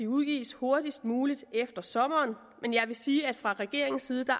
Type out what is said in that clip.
udgives hurtigst muligt efter sommeren men jeg vil sige at vi fra regeringens side